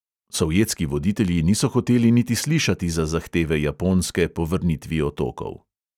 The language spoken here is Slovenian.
Sovjetski voditelji niso hoteli niti slišati za zahteve japonske po vrnitvi otokov.